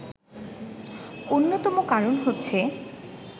অন্যতম কারণ হচ্ছে